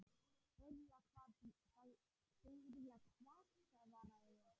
Byrja hvað svaraði ég.